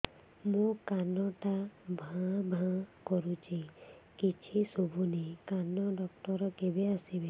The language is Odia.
ମୋ କାନ ଟା ଭାଁ ଭାଁ କରୁଛି କିଛି ଶୁଭୁନି କାନ ଡକ୍ଟର କେବେ ଆସିବେ